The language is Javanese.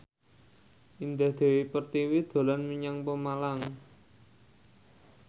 Indah Dewi Pertiwi dolan menyang Pemalang